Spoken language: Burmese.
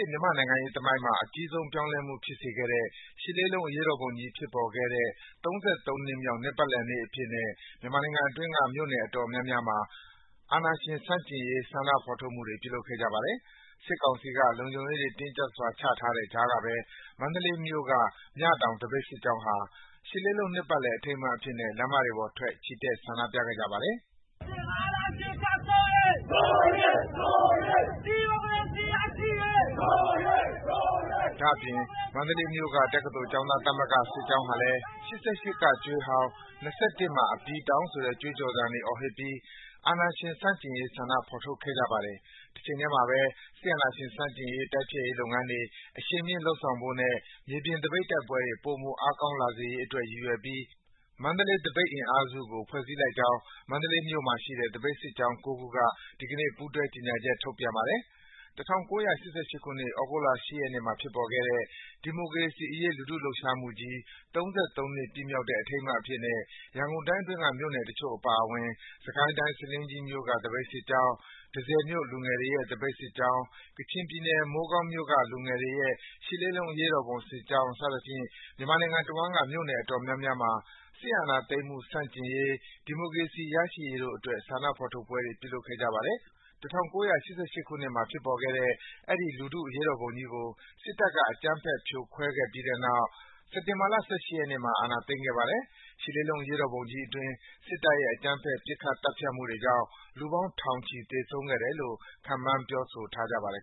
စ် မြန်မာ့နိုင်ငံရေးသမိုင်းမှာ အကြီးမားဆုံးပြောင်းလဲမှုဖြစ်စေခဲ့တဲ့ ရှစ်လေးလုံးအရေးတော်ပုံ (၈.၈.၈၈) ကြီးဖြစ်ပေါ်ခဲ့တဲ့ ၃၃ နှစ်မြောက် နှစ်ပတ်လည်နေ့အဖြစ်နဲ့ မြန်မာနိုင်ငံအတွင်းက မြို့နယ်အတော်များများမှာ အာဏာရှင်ဆန့်ကျင်ရေး ဆန္ဒဖော်ထုတ်ပွဲတွေ ပြုလုပ်ခဲ့ကြပါတယ်။ စစ်ကောင်စီက လုံခြုံရေးတွေ တင်းကြပ်စွာ ချထားတဲ့ကြားကပဲ မန္တလေးမြို့က မြတောင်စစ်ကြောင်းဟာ ရှစ်လေးလုံး နှစ်ပတ်လည် အထိမ်းအမှတ်အဖြစ်နဲ့ လမ်းတွေပေါ်ထွက် ချီတက်ဆန္ဒပြခဲ့ကြပါတယ်။ ဒါ့အပြင် မန္တလေးမြို့က တက္ကသိုလ်ကျောင်းသား သမဂ္ဂများစစ်ကြောင်းဟာလည်း “၈၈ ကသွေးကြွေးဟောင်း၊ ၂၁ မှာ အပြီးတောင်း” ဆိုတဲ့ ကြွေးကြော်သံတွေ အော်ဟစ်ပြီး အာဏာရှင်ဆန့်ကျင်ရေး ဆန္ဒဖော်ထုတ်ခဲ့ကြပါတယ်။ တချိန်ထဲမှာဘဲ စစ်အာဏာရှင်ဆန့်ကျင် တိုက်ဖျက်ရေးလုပ်ငန်းတွေ အရှိန်မြင့်လုပ်ဆောင်ဖို့နဲ့ မြေပြင်သပိတ်တိုက်ပွဲတွေ ပိုမို အားကောင်းလာစေရေးအတွက် ရည်ရွယ်ပြီး “မန္တလေး သပိတ်အင်အားစု” ကို ဖွဲ့စည်းလိုက်ကြောင်း မန္တလေးမြို့မှာရှိတဲ့ သပိတ်စစ်ကြောင်း ၉ ခုက ဒီကနေ့ ကြေညာချက် ထုတ်ပြန်ပါတယ်။ ၁၉၈၈ ခုနှစ်၊ သြဂုတ်လ ၈ ရက်နေ့မှာ ဖြစ်ပေါ်ခဲ့တဲ့ ဒီမုကရေစီအရေး လူထုလှုပ်ရှားမှုကြီး ၃၃ နှစ် ပြည့်မြောက်တဲ့ အထိမ်းအမှတ်အဖြစ်နဲ့ ရန်ကုန်တိုင်းအတွင်းက မြို့နယ်တချို့အပါအဝင် စစ်ကိုင်းတိုင်း ဆားလင်းကြီးမြို့က သပိတ်စစ်ကြောင်း၊ တန့်ဆည်မြို့ လူငယ်တွေရဲ့သပိတ်စစ်ကြောင်း၊ ကချင်ပြည်နယ် မိုးကောင်းမြို့ လူငယ်တွေရဲ့ ရှစ်လေးလုံး အရေးတော်ပုံစစ်ကြောင်း စသဖြင့် မြန်မာနိုင်ငံတဝန်းက မြို့နယ်အတော်များများမှာ စစ်အာဏာသိမ်းမှုဆန့်ကျင်ရေး၊ ဒီမိုကရေစီ ရရှိရေးအတို့အတွက် ဆန္ဒဖော်ထုတ်ပွဲတွေ ပြုလုပ်ခဲ့ကြပါတယ်။ ၁၉၈၈ ခုနှစ်မှာ ဖြစ်ပေါ်ခဲ့တဲ့ အဲဒီ လူထုအရေးတော်ပုံကြီးကို စစ်တပ်က အကြမ်းဖက်ဖြိုခွင်းခဲ့ပြီးတဲ့နောက် စက်တင်ဘာလ ၁၈ ရက်နေ့မှာ အာဏာသိမ်းခဲ့ပါတယ်။ ရှစ်လေးလုံး အရေးတော်ပုံကြီးအတွင်း စစ်တပ်ရဲ့ အကြမ်းဖက် ပစ်ခတ် သတ်ဖြတ်မှုတွေကြောင့် လူပေါင်း ထောင်ချီ သေဆုံးခဲ့တယ်လို့ ခန့်မှန်း ပြောဆိုကြပါတယ်